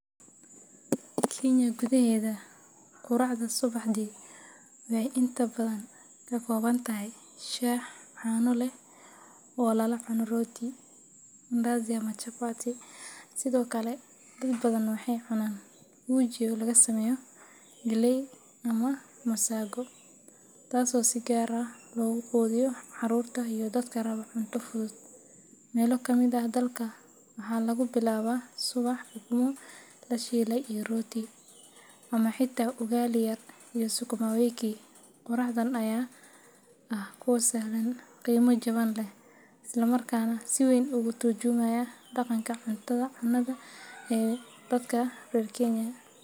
Kenya gudaheeda, quraacda subaxdii waxay inta badan ka kooban tahay shaah caano leh oo lala cuno rooti, mandazi ama chapati. Sidoo kale, dad badan waxay cunaan uji oo laga sameeyo galley ama masago, taasoo si gaar ah loogu quudiyo carruurta iyo dadka raba cunto fudud. Meelo ka mid ah dalka, waxaa lagu bilaabaa subaxa ukumo la shiilay iyo rooti, ama xitaa ugali yar iyo sukumawiki. Quraacdan ayaa ah kuwo sahlan, qiimo jaban leh, isla markaana si weyn uga tarjumaya dhaqanka cunnada ee dadka reer Kenya.